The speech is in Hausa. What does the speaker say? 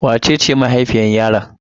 Wace ce mahaifiyar yaron?